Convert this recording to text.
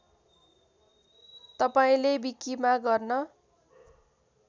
तपाईँले विकिमा गर्न